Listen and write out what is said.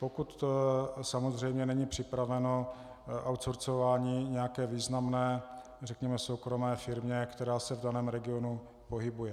Pokud samozřejmě není připraveno outsourceování nějaké významné, řekněme soukromé firmě, která se v daném regionu pohybuje.